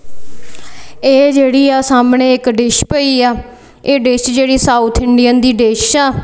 ਇਹ ਜਿਹੜੀ ਆ ਸਾਹਮਣੇ ਇੱਕ ਡਿਸ਼ ਪਈ ਆ ਇਹ ਡਿਸ਼ ਜਿਹੜੀ ਸਾਊਥ ਇੰਡੀਅਨ ਦੀ ਡਿਸ਼ ਆ।